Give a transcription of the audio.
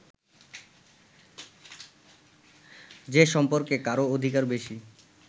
যে সম্পর্কে কারও অধিকার বেশি